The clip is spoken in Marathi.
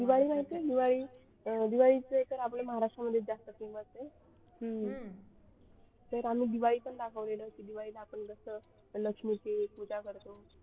दिवाळीचा तर आपल्या महाराष्ट्र मध्ये जास्त famous आहे तर आम्ही दिवाळी पण दाखवलेला की दिवाळीत आपण जसं लक्ष्मीची पूजा करतो.